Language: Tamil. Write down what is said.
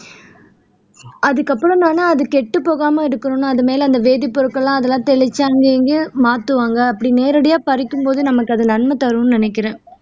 அதுக்கப்புறம் தானா அது கெட்டப் போகாம இருக்கணும்னா அது மேலே அந்த வேதிப் பொருட்கள் எல்லாம் தெளிச்சி அங்க இங்கயும் மாத்துவாங்க அப்படி நேரடியா பறிக்கும்போது நமக்கு அது நன்மை தரும்ன்னு நினைக்கிறேன்